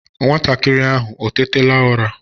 Nwantakịrị ahụ o tétala ụra?